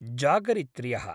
जागरित्र्यः